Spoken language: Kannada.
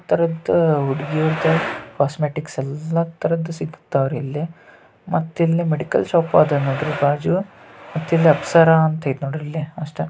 ಒಂಥರಾದ್ ಹುಡಗಿ ಐತೆ ಕಾಸ್ಮೆಟಿಕ್ಸ್ ಯಲ್ಲಾ ತರದ್ ಸಿಗ್ತಾವ್ರಿ ಇಲ್ಲೇ. ಮತ್ತ್ ಇಲ್ ಮೆಡಿಕಲ್ ಶಾಪ್ ಅದ ನೋಡ್ರಿ ಬಾಜು. ಮತ್ತ್ ಇಲ್ ಅಪ್ಸರಾ ಅಂತ ಐಯ್ತ್ ನೋಡ್ರಿಲ್ಲೇ ಅಷ್ಟ.